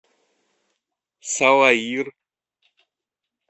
салаир